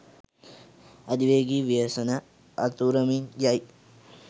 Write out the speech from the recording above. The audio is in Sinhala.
අධිවේගී ව්‍යසනය අතුරමින් යයි